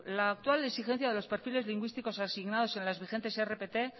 la actual exigencia de los perfiles lingüísticos asignados en las vigentes rpt